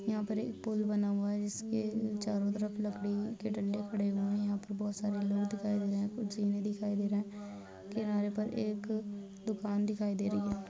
यहाँ पर एक पुल बना हुआ है जिसके चारों तरफ लकड़ी के डंडे खड़े हुएं हैं। यहाँ पर बहोत सारे लोग दिखाई दे रहे दिखाई दे रहा। किनारे पर एक दुकान दिखाई दे रही है।